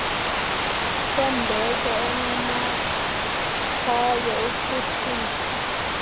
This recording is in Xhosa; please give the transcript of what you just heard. sembeko unomatshawe uphuhlisa